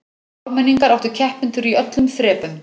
Ármenningar áttu keppendur í öllum þrepum